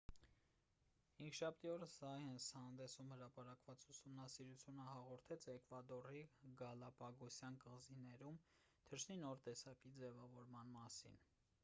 հինգշաբթի օրը սայընս հանդեսում հրապարակված ուսումնասիրությունը հաղորդեց էկվադորի գալապագոսյան կղզիներում թռչնի նոր տեսակի ձևավորման մասին